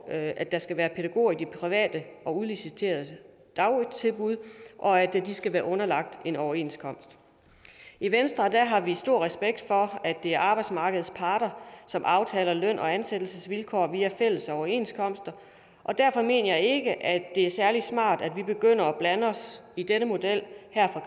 at at der skal være pædagoger i de private og udliciterede dagtilbud og at de skal være underlagt en overenskomst i venstre har vi stor respekt for at det er arbejdsmarkedets parter som aftaler løn og ansættelsesvilkår via fælles overenskomster og derfor mener jeg ikke at det er særlig smart at vi begynder at blande os i denne model her fra